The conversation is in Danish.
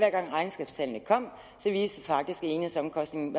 gang regnskabstallene kom viste de faktisk at enhedsomkostningerne